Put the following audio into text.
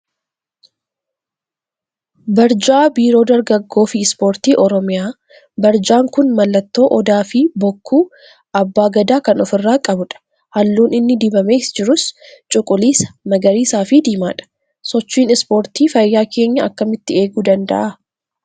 Barjaa Biiroo Dargaggoo fi Ispoortii Oromiyaa Barjaan kun mallattoo Odaa fi bokkuu abbaa gadaa kan ofirraa qabudha. Halluun inni dibamee jirus cuquliisa, magariisaa fi diimaadha. Sochiin Ispoortii fayyaa keenya akkamitti eeguu danda'a?